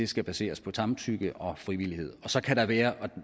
skal baseres på samtykke og frivillighed men så kan der være og